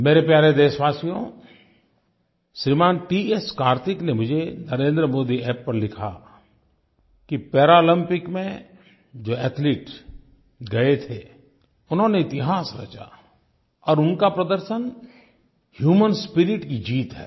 मेरे प्यारे देशवासियो श्रीमान टी एस कार्तिक ने मुझे NarendraModiApp पर लिखा कि पैरालम्पिक्स में जो एथलीट्स गए थे उन्होंने इतिहास रचा और उनका प्रदर्शन ह्यूमन स्पिरिट की जीत है